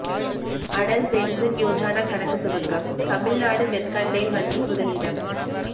Atal pension Yojana கணக்கு துவக்கம் Tamil Nadu mercantile வங்கி முதலிடம்